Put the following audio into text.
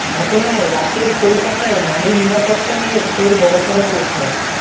ঘটনায় রাতের কলকাতায় নারী নিরাপত্তা নিয়ে ফের বড়সড় প্রশ্ন